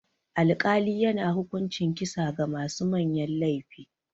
Alkali yana hukuncin kisa ga masu manyan laifi.